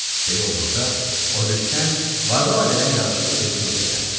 Belə olduqda Oqyusten varlı ailədən yaraşıqlı bir qızla evləndi.